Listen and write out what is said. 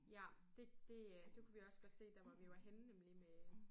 Ja det det øh det kunne vi også godt se dér hvor vi var henne nemlig med